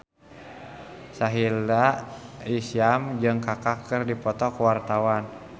Sahila Hisyam jeung Kaka keur dipoto ku wartawan